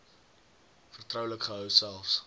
vertroulik gehou selfs